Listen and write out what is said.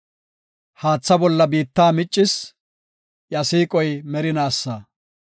Haatha bolla biitta miccis; iya siiqoy merinaasa.